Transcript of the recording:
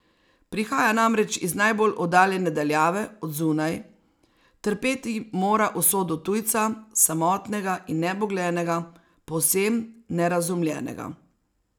Prihaja namreč iz najbolj oddaljene daljave, od zunaj, trpeti mora usodo tujca, samotnega in nebogljenega, povsem nerazumljenega.